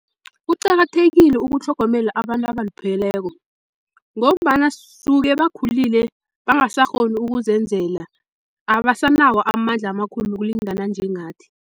Kuqakathekile ukutlhogomela abantu abalupheleko, ngombana suke bakhulile bangasakghoni ukuzenzela abasanawo amandla amakhulu ukulingana njengathi.